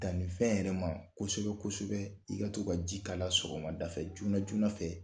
Dannifɛn yɛrɛ ma kosɛbɛ kosɛbɛ i ka to ka ji k'a la sɔgɔmadafɛ joona joona fɛ